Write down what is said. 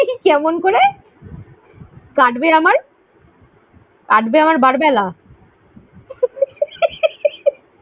কেমন করে? কাটবে আমার কাটবে আমার বার বেলা?